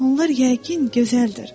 Onlar yəqin gözəldir.